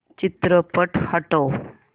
चित्रपट हटव